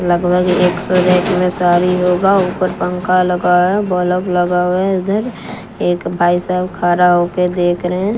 लगभग एक सौ रैक में सारी होगा ऊपर पंखा लगा है बल्ब लगा हुआ है इधर एक भाई साहब खड़ा हो के देख रहे हैं।